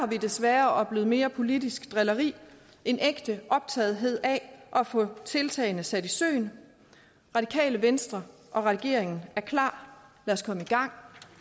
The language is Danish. vi desværre oplevet mere politisk drilleri end ægte optagethed af at få tiltagene sat i søen radikale venstre og regeringen er klar lad os komme i gang